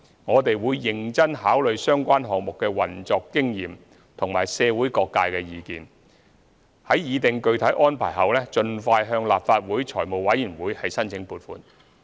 我們會認真考慮相關項目的運作經驗及社會各界意見，擬定具體安排後盡快向立法會財務委員會申請撥款。